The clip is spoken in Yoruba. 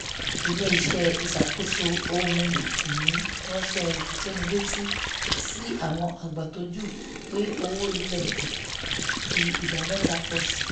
iléeṣẹ́ iṣakoso ohun-ini ranṣẹ ifitonileti sí àwọn agbatọju pé owó ilé ń fi ìdá mẹ́ta pọ̀ sí i